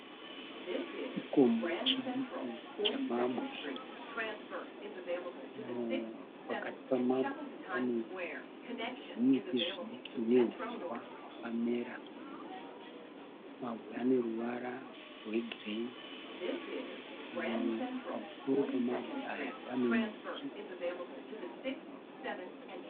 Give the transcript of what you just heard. Chikomo chidiki chemabwe. Pakati pemabwe pane zvimiti zvidiki nehuswa hwakamera. Mabwe ane ruvara rwegireyi. Pamusoro pemabwe aya pane miti.